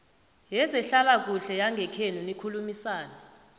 yezehlalakuhle yangekhenu nikhulumisane